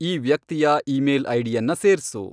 ಈ ವ್ಯಕ್ತಿಯ ಈಮೇಲ್ ಐಡಿಯನ್ನ ಸೇರ್ಸು